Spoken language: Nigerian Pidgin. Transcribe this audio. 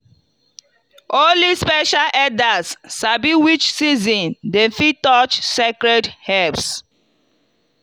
only special elders sabi which season dem fit touch sacred herbs.